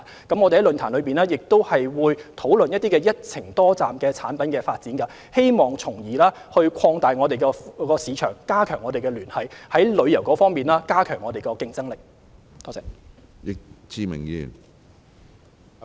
我們在論壇上，亦會討論一些"一程多站"的產品發展，希望從而擴大市場，加強聯繫，提高我們在旅遊方面的競爭力。